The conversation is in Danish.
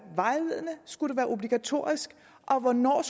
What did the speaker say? vejledende skulle være obligatorisk og om hvornår